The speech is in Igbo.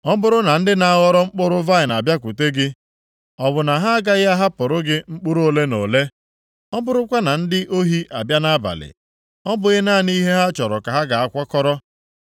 Ọ bụrụ na ndị na-aghọrọ mkpụrụ vaịnị abịakwute gị, ọ bụ na ha agaghị ahapụrụ gị mkpụrụ ole na ole? Ọ bụrụkwa na ndị ohi abịa nʼabalị, ọ bụghị naanị ihe ha chọrọ ka ha ga-akwakọrọ?